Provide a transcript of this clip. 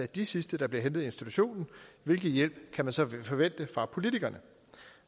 de sidste der bliver hentet i institutionen hvilken hjælp kan man så forvente fra politikerne